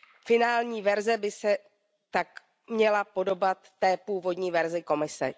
Finální verze by se tak měla podobat té původní verzi Komise.